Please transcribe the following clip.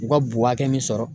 U ka bo hakɛ min sɔrɔ.